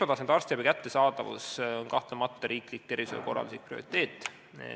" Esmatasandi arstiabi kättesaadavus on kahtlemata riiklik tervishoiukorralduslik prioriteet.